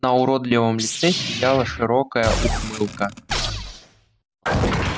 на уродливом лице сияла широкая ухмылка